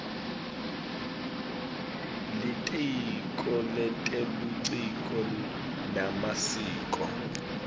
litiko letebuciko nemasiko